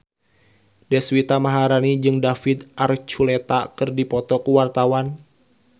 Deswita Maharani jeung David Archuletta keur dipoto ku wartawan